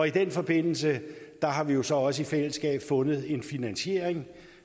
i den forbindelse har vi vi så også i fællesskab fundet en finansiering